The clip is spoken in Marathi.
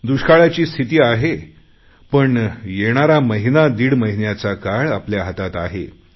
दुष्काळाची स्थिती आहे पण येणारा महिनादीड महिन्याचा काळ आपल्या हातात आहे